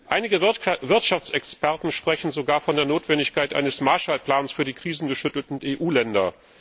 Einige Wirtschaftsexperten sprechen sogar von der Notwendigkeit eines Marshallplans für die krisengeschüttelten EU Länder.